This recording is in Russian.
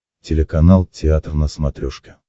телеканал театр на смотрешке